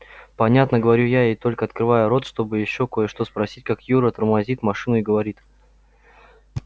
понятно говорю я и только открываю рот чтобы ещё кое-что спросить как юра тормозит машину и говорит